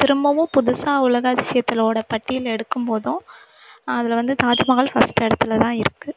திரும்பவும் புதுசா உலக அதிசயத்லோட பட்டியல் எடுக்கும் போதும் அதுல வந்து தாஜ்மஹால் first இடத்துலதான் இருக்கு